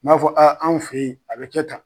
N m'a fɔ a anw fe yen a bɛ kɛ tan